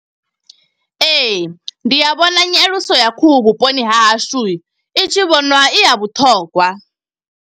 Ee, ndi a vhona nyaluso ya khuhu vhuponi ha hashu, i tshi vhonwa i ya vhuṱhongwa.